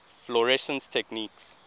fluorescence techniques